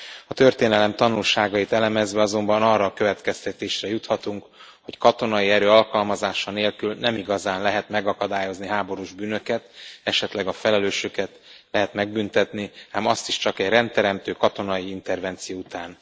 A történelem tanulságait elemezve azonban arra a következtetésre juthatunk, hogy katonai erő alkalmazása nélkül nem igazán lehet megakadályozni háborús bűnöket, esetleg a felelősöket lehet megbüntetni, ám azt is csak egy rendteremtő katonai intervenció után.